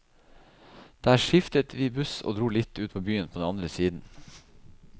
Der skiftet vi buss og dro litt ut av byen på den andre siden.